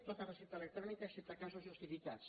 tota recepta electrònica excepte en casos justificats